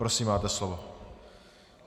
Prosím, máte slovo.